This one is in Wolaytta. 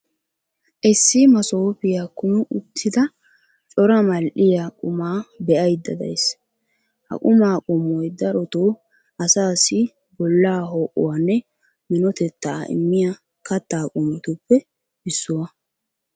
issi masooppiya kumi uttida cora mal'iya qumaa be'aydda days. ha qumaa qommoy darotoo asaassi bolaa ho'uwanne minotettaa immiya kataa qommotuppe issuwa.